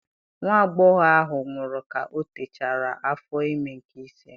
Nwa agbọghọbịa ahụ nwụrụ ka ọ techara afọ ime nke ise.